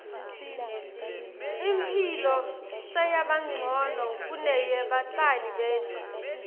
imphilo seyabancono kuneyebatali betfu